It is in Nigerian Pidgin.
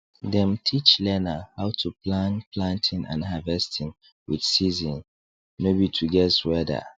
dem teach learner how to plan planting and harvesting with season no be to guess weather